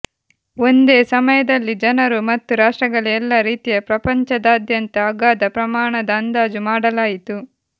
ಒಂದೇ ಸಮಯದಲ್ಲಿ ಜನರು ಮತ್ತು ರಾಷ್ಟ್ರಗಳ ಎಲ್ಲಾ ರೀತಿಯ ಪ್ರಪಂಚದಾದ್ಯಂತ ಅಗಾಧ ಪ್ರಮಾಣದ ಅಂದಾಜು ಮಾಡಲಾಯಿತು